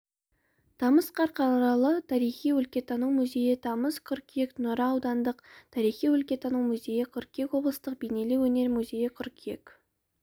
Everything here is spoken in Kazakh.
тамыз қарқаралы тарихи-өлкетану музейі тамыз қыркүйек нұра аудандық тарихи-өлкетану музейі қыркүйек облыстық бейнелеу өнер музейі қыркүйек